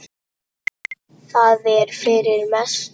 Það er fyrir mestu.